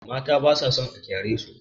Mata ba sa son a kyaresu.